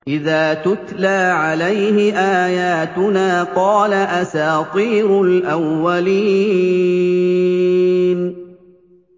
إِذَا تُتْلَىٰ عَلَيْهِ آيَاتُنَا قَالَ أَسَاطِيرُ الْأَوَّلِينَ